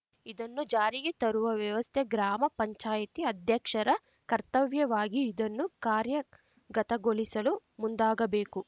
ಇದನ್ನು ಜಾರಿಗೆ ತರುವ ವ್ಯವಸ್ಥೆ ಗ್ರಾಮ ಪಂಚಾಯಿತಿ ಅಧ್ಯಕ್ಷರ ಕರ್ತವ್ಯವಾಗಿ ಇದನ್ನು ಕಾರ್ಯಗತಗೊಳಿಸಲು ಮುಂದಾಗಬೇಕು